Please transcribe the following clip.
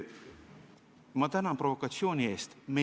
Ma tänan provokatsiooni eest!